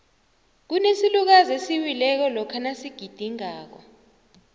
kunesilukazi esiwileko lokha nasigidingako